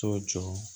To jɔ